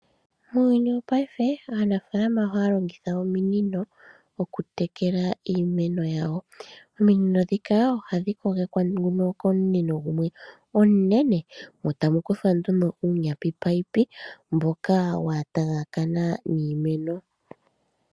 Uuyuni wongaashingeyi aanafaalama ohaya longitha ominino oku tekela iimeno yawo. Oominono ndhika hadhi kogekwa komunino gumwe ngoka omunene eta mukuthwa nduno uunino mboka uushona mboka watayakana niimeno.